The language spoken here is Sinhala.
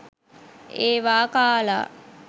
ඒවා කාලා